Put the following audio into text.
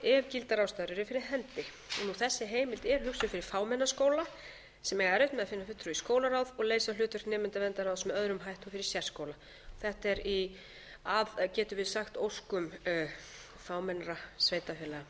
gildar ástæður eru fyrir hendi þessi heimild er hugsuð fyrir fámenna skóla sem eiga erfitt með að finna fulltrúa í skólaráð og leysa hlutverk nemendaverndarráðs með öðrum hætti og fyrir sérskóla þetta er í óskum getum við sagt fámennra sveitarfélaga